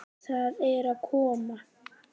Það er að koma!